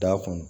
Da kun